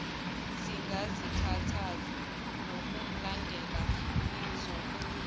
singazikhathazi ngokumlanda nizobuya